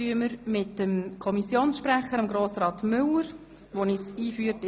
– Wir starten mit dem Kommissionssprecher der BaK, Grossrat Müller, der uns in das Geschäft einführt.